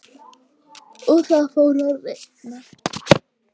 Og það fór að rigna.